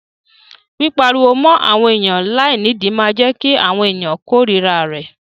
Pípariwo mọ́ àwọn ènìyàn láìnídìí máa jẹ́ kí àwọn ènìyàn kórira rẹ.